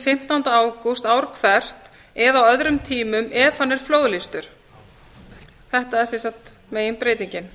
fimmtánda ágúst ár hvert eða á öðrum tímum ef hann er flóðlýstur þetta er sem sagt meginbreytingin